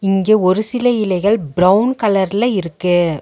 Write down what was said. இங்க ஒரு சில இலைகள் பிரவுன் கலர்ல இருக்கு.